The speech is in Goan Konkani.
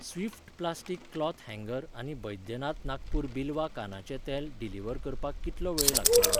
स्विफ्ट प्लास्टीक क्लॉथ हँगर आनी बैद्यनाथ नागपूर बिलवा कानाचें तेल डिलिव्हर करपाक कितलो वेळ लागतलो?